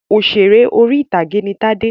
Òṣèrè orí-ìtàgé ni Tádé.